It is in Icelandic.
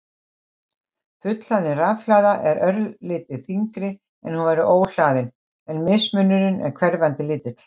Fullhlaðin rafhlaða er örlítið þyngri en hún væri óhlaðin en mismunurinn er hverfandi lítill.